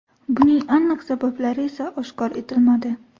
Buning aniq sabablari esa oshkor etilmadi.